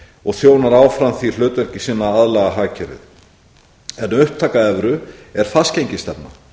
og þjónar áfram því hlutverki sínu að aðlaga hagkerfið en upptaka evru er fastgengisstefna